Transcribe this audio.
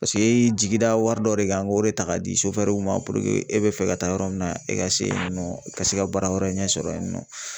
paseke e ye jigida wari dɔ de kan k'o de ta k'a di ma e bi fɛ ka taa yɔrɔ min na, e ka se yen nɔ, ka se ka baara wɛrɛ ɲɛ sɔrɔ yen nɔ .